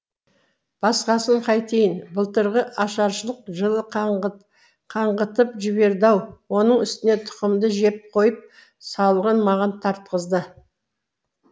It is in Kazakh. басқасын қайтейін былтырғы ашаршылық жылы қаңғытып жіберді ау оның үстіне тұқымды жеп қойып салығын маған тартқызды